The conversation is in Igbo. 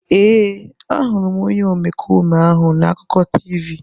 Ee, ahụrụ m onye omekome ahụ na akụkọ TV.